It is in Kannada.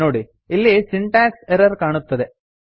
ನೋಡಿ ಇಲ್ಲಿ ಸಿಂಟಾಕ್ಸ್ ಎರ್ರರ್ ಕಾಣುತ್ತದೆ